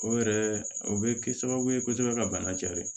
O yɛrɛ o bɛ kɛ sababu ye kosɛbɛ ka bana cɛn dɛ